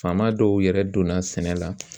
Faama dɔw yɛrɛ donna sɛnɛ la